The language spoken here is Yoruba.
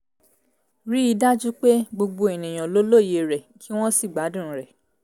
rí i dájú pé gbogbo ènìyàn lè lóye rẹ̀ kí wọ́n sì gbádùn rẹ̀